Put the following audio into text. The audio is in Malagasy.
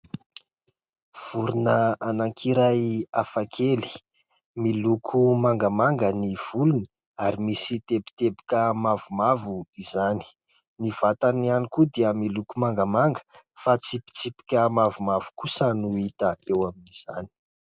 Vorona anakiray hafa kely. Miloko mangamanga ny volony ary misy teboteboka mavomavo izany. Ny vatany ihany koa dia miloko mangamanga fa tsipitsipika mavomavo no hita amin'izany.